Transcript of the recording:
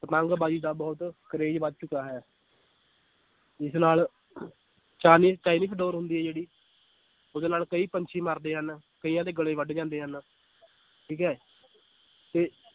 ਪਤੰਗਬਾਜ਼ੀ ਦਾ ਬਹੁਤ ਕਰੇਜ ਵੱਧ ਚੁੱਕਾ ਹੈ ਜਿਸ ਨਾਲ ਡੋਰ ਹੁੰਦੀ ਹੈ ਜਿਹੜੀ ਉਹਦੇ ਨਾਲ ਕਈ ਪੰਛੀ ਮਰਦੇ ਹਨ, ਕਈਆਂ ਦੇ ਗਲੇ ਵੱਡ ਜਾਂਦੇ ਹਨ ਠੀਕ ਹੈ ਤੇ